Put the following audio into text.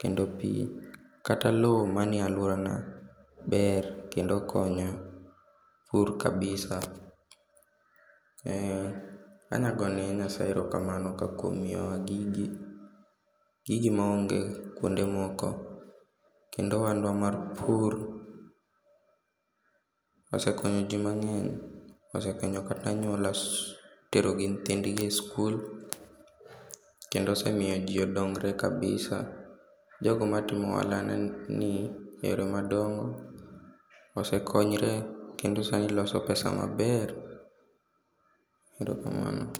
kendo pii kata loo manie aluora na ber kendo konyo pur kabisa. Eeeh, Anya gone nyasaye erokamnao ka kuom miyo wa gigi, gigi maonge kuonde moko kendo oandwa mar pur osekonyo jii mang'eny, osekonyo kat aanyola tero gi nyithindgi e skul kendo osemiyo jii odongre kabisa, jogo matimo ohala ni yore madongo osekonyre kendo sani loso pesa maber. Erokamano